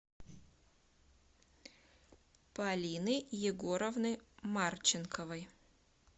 полины егоровны марченковой